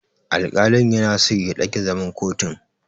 Alƙalin yana so ya ɗage zaman kotun.